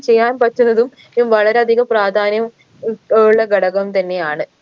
ചെയ്യാൻ പറ്റുന്നതും ഏർ വളരെയധികം പ്രാധാന്യം ഉൾഉള്ള ഘടകം തന്നെയാണ്